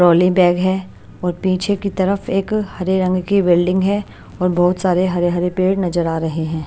Trolley bag है और पीछे की तरफ एक हरे रंग की बिल्डिंग है और बहोत सारे हरे हरे पेड़ नजर आ रहे हैं।